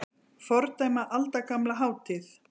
Fordæma aldagamla hátíð